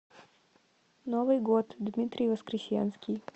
новый год дмитрий воскресенский